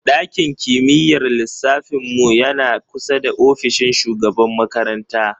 Ɗakin kimiyyar lissafin mu yana kusa da ofishin shugaban makaranta.